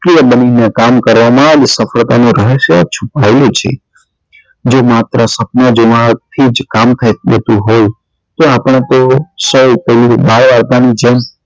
બની ને કામમ કરવા માં જ સફળતા નું રહસ્ય છુપાયેલું છે જો માત્ર સપના જોવા થી જ કામ કર થઇ જતું હોય તો આપણા તેઓ સૌ કોઈ બાળકો ની જેમ